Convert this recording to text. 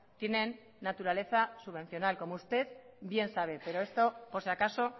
tienen naturaleza subvencional como usted bien sabe pero esto por si acaso